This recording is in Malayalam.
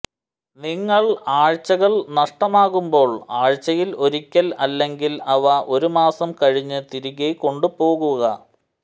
നിങ്ങൾ ആഴ്ച്ചകൾ നഷ്ടമാകുമ്പോൾ ആഴ്ചയിൽ ഒരിക്കൽ അല്ലെങ്കിൽ അവ ഒരു മാസം കഴിഞ്ഞ് തിരികെ കൊണ്ടുപോവുക